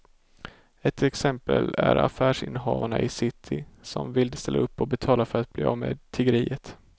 Ett exempel är affärsinnehavarna i city som vill ställa upp och betala för att bli av med tiggeriet.